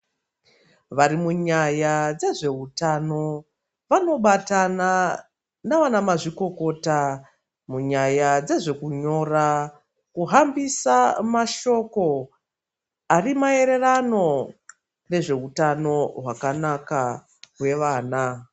Vari munyaya dzezvehutano vanobatana navanamazvikokota munyaya dzezvekunyora, kuhambisa mashoko ari maererano nezvehutano hwakanaka hwevana.